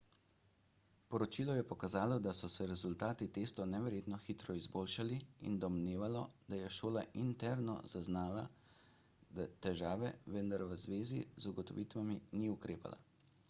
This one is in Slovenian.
poročilo je pokazalo da so se rezultati testov neverjetno hitro izboljšali in domnevalo da je šola interno zaznala težave vendar v zvezi z ugotovitvami ni ukrepala